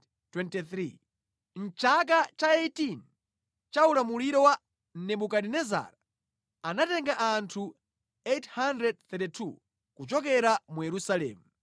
mʼchaka cha 18 cha ulamuliro wa Nebukadinezara, anatenga anthu 832 kuchokera mu Yerusalemu;